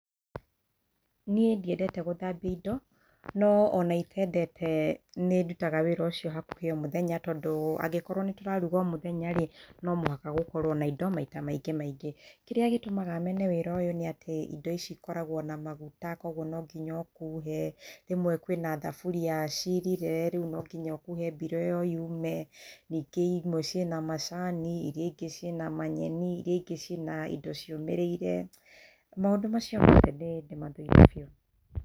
Niĩ ndiendete gũthambia indo, no ona itendete nĩ ndutaga wĩra ũcio hakuhĩ o mũthenya tondũ angĩkorwo nĩ tũraruga o mũthenya, no mũhaka gũkorwo na indo maita maingĩ maingĩ. Kĩrĩa gĩtũmaga mene wĩra ũyũ nĩ indo ici ikoragwo na maguta, koguo no nginya ũkũhe, rĩmwe kwĩna thaburia ĩirire koguo nonginya ĩkuhwo mbiro yume, ningĩ imwe ciĩna macani, manyeni, iria ingĩ ciĩna indo ciũmĩrĩire. maũndũ macio mothe nĩ ndĩmathũire.